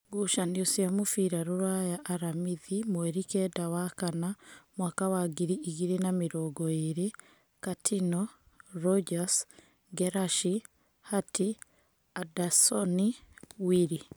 Ngucanio cia mũbira Rūraya Aramithi mweri kenda wa kana mwaka wa ngiri igĩrĩ na mĩrongo ĩrĩ: Katino, Rũnjas, Ngerashi, Hati, Andasoni, Wili.